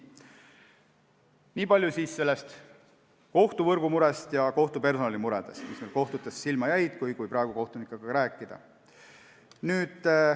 Niipalju kohtuvõrgu ja kohtupersonali muredest, mis kohtutes silma jäävad, kui kohtunikega rääkida.